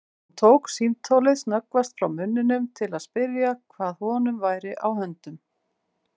En hvernig er með meiðslin í hópnum alveg lausar við það?